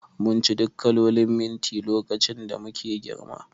Munci duk kalolin minti lokacin da muke girma